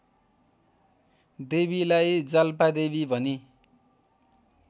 देवीलाई जाल्पादेवी भनी